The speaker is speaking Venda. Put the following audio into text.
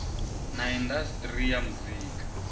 na indas ri ya muzika